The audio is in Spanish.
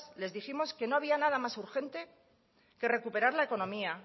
les dijimos que no había nada más urgente que recuperar la economía